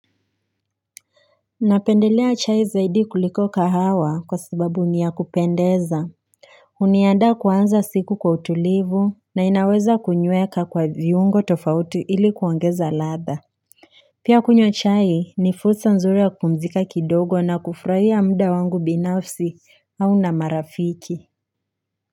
Napendelea chai zaidi kuliko kahawa kwa sababu ni ya kupendeza Huniandaa kuanza siku kwa utulivu na inaweza kunyweka kwa viungo tofauti ili kuongeza ladha Pia kunywa chai ni fursa nzuri ya kupumzika kidogo na kufraia mda wangu binafsi au na marafiki.